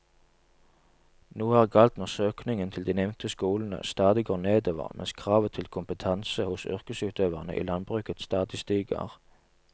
Noe er galt når søkningen til de nevnte skolene stadig går nedover mens kravet til kompetanse hos yrkesutøverne i landbruket stadig stiger.